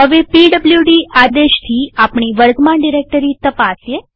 હવે પીડબ્લુડી આદેશથી આપણી વર્તમાન ડિરેક્ટરી તપાસીએ